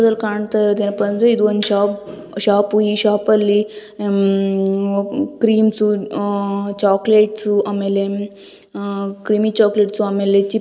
ಇಲ್ಲಿ ಕಾಣ್ತಿರೋದ ಬಂದು ಇದು ಒಂದು ಶಾಪ್ ಶಾಪು ಈ ಶಾಪ್ ಅಲ್ಲಿ ಉಮ್ ಕ್ರೀಮ್ಸ್ ಅಹ್ ಚಾಕಲೇಟ್ ಆಮೇಲೆ ಅಹ್ ಕ್ರೀಮಿ ಚಾಕಲೇಟ್ಸು ಆಮೇಲೆ --